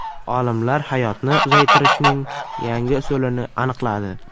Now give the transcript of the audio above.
Olimlar hayotni uzaytirishning yangi usulini aniqladi.